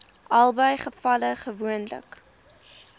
albei gevalle gewoonlik